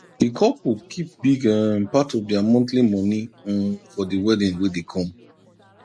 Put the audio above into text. the couple keep big um part of their monthly moni um for the wedding wey dey come